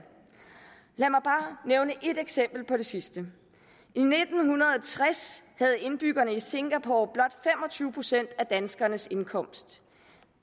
lad mig bare nævne et eksempel på det sidste i nitten tres havde indbyggerne i singapore blot fem og tyve procent af danskernes indkomst